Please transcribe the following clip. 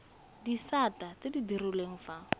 disata tse di direlwang fa